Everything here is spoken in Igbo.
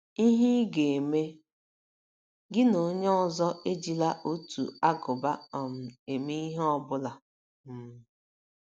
IHE Ị GA - EME: Gị na onye ọzọ ejila otu ágụbá um eme ihe ọ bụla um.